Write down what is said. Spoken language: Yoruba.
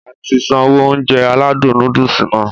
Ati sanwó Ounjẹ aládùn nóódùsì Nàá